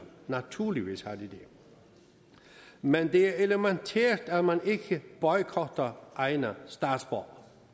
naturligvis har de det men det er elementært at man ikke boykotter egne statsborgere